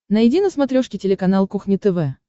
найди на смотрешке телеканал кухня тв